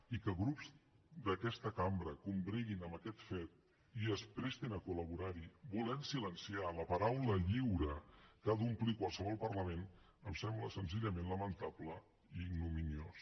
i que grups d’aquesta cambra combreguin amb aquest fet i es prestin a col·laborar hi volent silenciar la paraula lliure que ha d’omplir qualsevol parlament em sembla senzillament lamentable i ignominiós